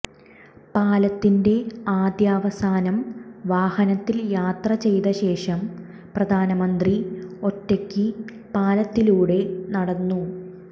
പാലത്തിന്റെ ആദ്യാവസാനം വാഹനത്തിൽ യാത്ര ചെയ്ത ശേഷം പ്രധാനമന്ത്രി ഒറ്റയ്ക്ക് പാലത്തിലൂടെ നടന്നു